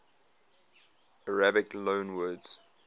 arabic loanwords